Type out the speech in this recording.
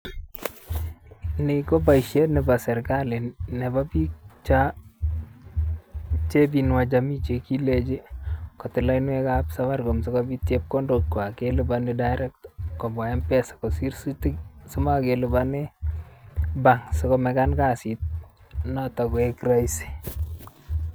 Ni koboisiet nebo serikali nebo biik cho ichep jamii che kikilechi kotil lainwekab safaricom sikopit chepkondokwai kelipani direct kobwa mpesa kosiir simakelipane bank sikomekan kasiit noto koek raisi.